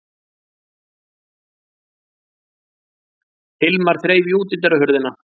Hilmar þreif í útidyrahurðina.